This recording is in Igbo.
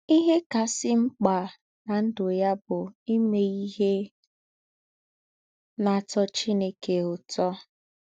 Íhè kásị̀ m̀kpà ná ndụ́ yá bụ́ ímè íhè nà-átọ́ Chínèké ứtọ̀.